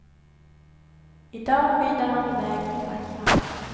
I dag skidar han iväg med facklan.